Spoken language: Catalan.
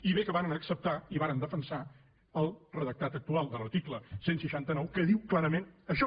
i bé que varen acceptar i varen defensar el redactat actual de l’article cent i seixanta nou que diu clarament això